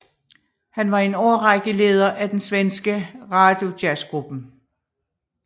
Han var i en årrække leder af den svenske Radiojazzgruppen